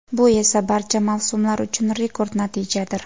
Bu esa barcha mavsumlar uchun rekord natijadir.